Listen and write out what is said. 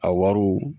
A wariw